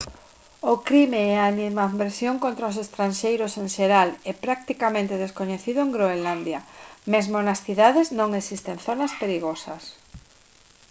o crime e a animadversión contra os estranxeiros en xeral é practicamente descoñecido en groenlandia. mesmo nas cidades non existen «zonas perigosas»